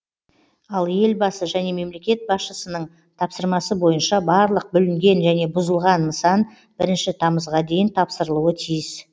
ал елбасы және мемлекет басшысының тапсырмасы бойынша барлық бүлінген және бұзылған нысан бірінші тамызға дейін тапсырылуы тиіс